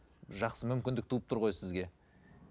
жақсы мүмкіндік туып тұр ғой сізге